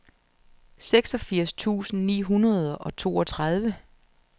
seksogfirs tusind ni hundrede og toogtredive